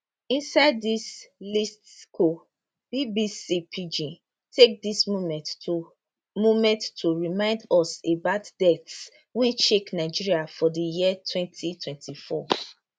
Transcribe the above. inside dis listicle bbc pidgin take dis moment to moment to remind us about deaths wey shake nigeria for di year 2024